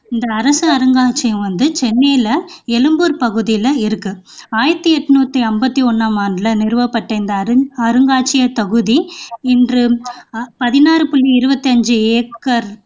இந்த அரச அருங்காட்சியகம் வந்து சென்னையில எழும்பூர்ப் பகுதியில இருக்கு ஆயிரத்து எண்ணூற்றி ஐம்பத்து ஒண்ணாம் ஆண்டில நிறுவப்பட்ட இந்த அருங்காட்சியகத் தொகுதி இன்று பதினாறு புள்ளி இருபத்தி ஐந்து ஏக்கர்